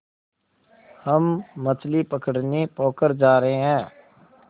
हम मछली पकड़ने पोखर जा रहें हैं